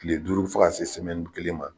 Kile duuru fo ka se kelen ma.